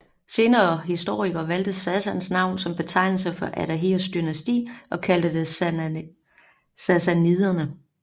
Senere historikere valgte Sassans navn som betegnelse for Ardahirs dynasti og kaldte det sassaniderne